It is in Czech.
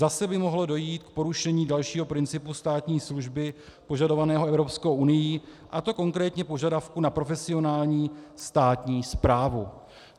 Zase by mohlo dojít k porušení dalšího principu státní služby požadovaného Evropskou unií, a to konkrétně požadavku na profesionální státní správu.